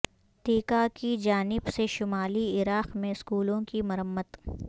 TIKA کی جانب سے شمالی عراق میں اسکولوں کی مرمت